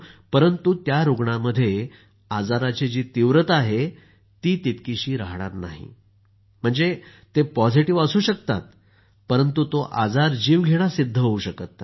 परंतु त्या रूग्णांमध्ये आजाराची जी तीव्रता आहे ती तितकीशी रहाणार नाही म्हणजे ते पॉझटीव्ह असू शकतात परंतु तो आजार जीवघेणा सिद्ध होऊ शकत नाही